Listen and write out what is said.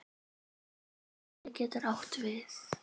Jónsi getur átt við